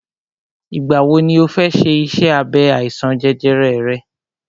Ìgbà wọ ni ọ fẹ ṣe iṣẹ́ abẹ àìsàn jẹjẹrẹ rẹ?